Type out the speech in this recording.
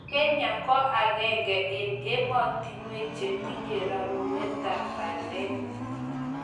Kenya ko akenge eng emotinwek che tinyei rerunetab bandek.